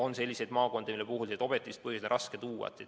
On ka selliseid maakondi, mille puhul objektiivseid põhjusi on raske tuua.